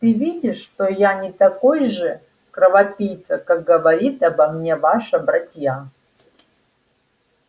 ты видишь что я не такой же кровопийца как говорит обо мне ваша братья